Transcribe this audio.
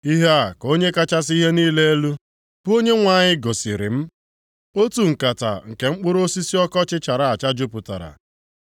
Ihe a ka Onye kachasị ihe niile elu, bụ Onyenwe anyị gosiri m. Otu nkata nke mkpụrụ osisi ọkọchị chara acha jupụtara.